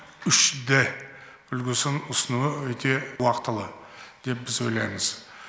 үш д үлгісін ұсынуы өте уақтылы деп біз ойлаймыз